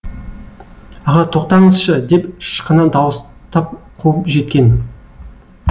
аға тоқтаңызшы деп ышқына дауыстап қуып жеткен